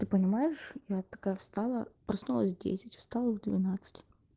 ты понимаешь я такая встала проснулась в десять встала в двенадцать